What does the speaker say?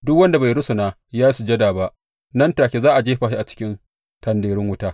Duk wanda bai rusuna ya yi sujada ba, nan take za a jefa shi a cikin tendarun wuta.